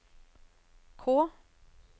K